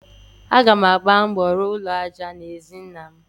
Aga m agba mbọ rụọ ụlọ aja n'ezi nnam.